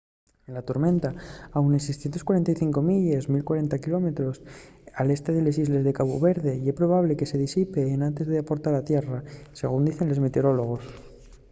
la tormenta a unes 645 milles 1040 km al este de les islles de cabu verde ye probable que se disipe enantes d'aportar a tierra según dicen los meteorólogos